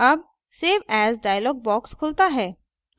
as save as dialog box खुलता है